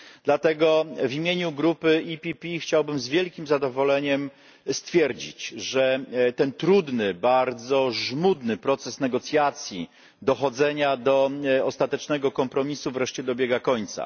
Dlatego w imieniu grupy PPE chciałbym z wielkim zadowoleniem stwierdzić, że ten trudny, bardzo żmudny proces negocjacji dochodzenia do ostatecznego kompromisu wreszcie dobiega końca.